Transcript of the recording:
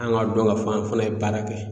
An ka dɔn ka fɔ an fana ye baara kɛ